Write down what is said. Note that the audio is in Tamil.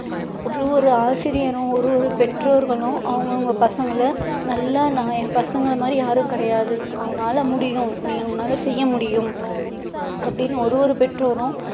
ஒரு ஒரு ஆசிரியரும் ஒரு ஒரு பெற்றோர்களும் அவங்க அவங்க பசங்களை நல்லா நான் என் பசங்களை மாதிரி யாரும் கிடையாது உன்னால முடியும் நீ உன்னால செய்ய முடியும் அப்படின்னு ஓரு ஒரு பெற்றோரும்